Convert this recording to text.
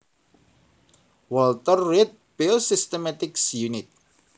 Walter Reed Biosystematics Unit